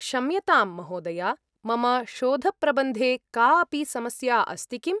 क्षम्यतां, महोदया, मम शोधप्रबन्धे का अपि समस्या अस्ति किम्?